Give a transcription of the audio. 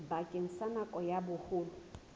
bakeng sa nako ya boholo